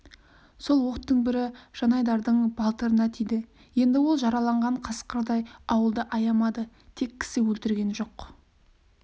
сол оқтың бірі жанайдардың балтырына тиді енді ол жараланған қасқырдай ауылды аямады тек кісі өлтірген жоқ